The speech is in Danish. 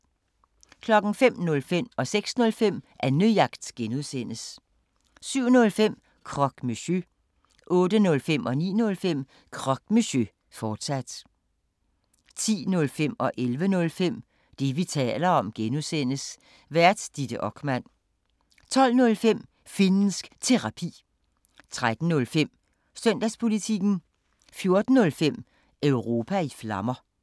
05:05: Annejagt (G) 06:05: Annejagt (G) 07:05: Croque Monsieur 08:05: Croque Monsieur, fortsat 09:05: Croque Monsieur, fortsat 10:05: Det, vi taler om (G) Vært: Ditte Okman 11:05: Det, vi taler om (G) Vært: Ditte Okman 12:05: Finnsk Terapi 13:05: Søndagspolitikken 14:05: Europa i Flammer